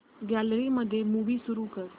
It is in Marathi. गॅलरी मध्ये मूवी सुरू कर